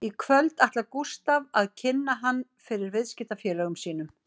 Í kvöld ætlar Gústaf að kynna hann fyrir viðskiptafélögum sínum